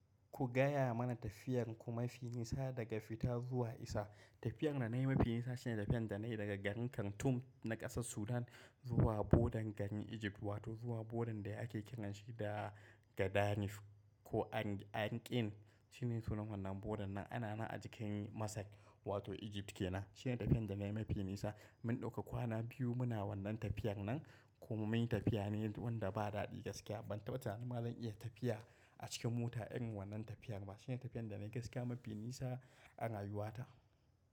Ku gaya mana tafiyar ku mafi nisa daga fita zuwa isa. Tafiyar da na yi mafi nisa shine tafiyar da na yi daga garin Khartoum na ƙasar Sudan zuwa bodan garin Egypt wato zuwa bodan da ake kiranshi da Gadanif ko Ankin. Shine sunan wannan bodan nan. Yana nan a jikin Masar wato Egypt kenan. Shine tafiyar da na yi mafi nisa. Mun dauka kwana biyu muna wannan tafiyar nan kuma munyi tafiya ne gurin da ba dadi gaskiya. Ban taɓa tunaninma zan iya tafiya a cikin mota irin wannan tafiyar ba. Shine tafiyar da na yi gaskiya mafi nisa a rayuwata.